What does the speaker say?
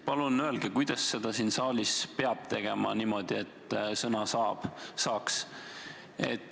Palun öelge, kuidas siin saalis peab toimima, et sõna saaks.